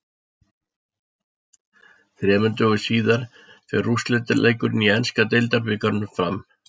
Þremur dögum síðar fer úrslitaleikurinn í enska deildabikarnum fram.